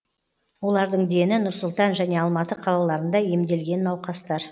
олардың дені нұр сұлтан және алматы қалаларында емделген науқастар